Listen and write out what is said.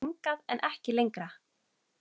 Hingað, en ekki lengra.